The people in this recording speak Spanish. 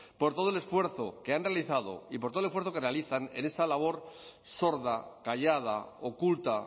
por todo el esfuerzo que han realizado y por el esfuerzo que realizan en esa labor sorda callada oculta